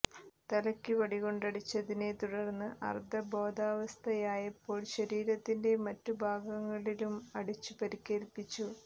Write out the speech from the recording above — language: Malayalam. തലക്ക് വടികൊണ്ടടിച്ചതിനെ തുടർന്ന് അർധ ബോധാവസ്ഥയായപ്പോൾ ശരീരത്തിന്റെ മറ്റു ഭാഗങ്ങളിലും അടിച്ചു പരിക്കേൽപിച്ചു